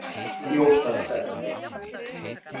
Þjóta hvert?